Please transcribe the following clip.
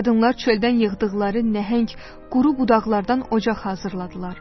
Qadınlar çöldən yığdıqları nəhəng quru budaqlardan ocaq hazırladılar.